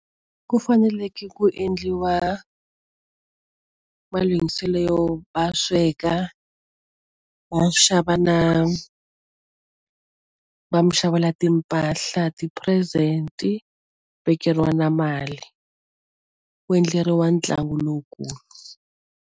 Ku faneleke ku endliwa malunghiselo yo va sweka va xava na va mi xavela timpahla ti-present vekeriwa na mali u endleriwa ntlangu lowukulu.